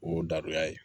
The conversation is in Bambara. O y'o daduya ye